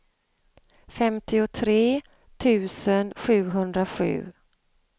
femtiotre tusen sjuhundrasju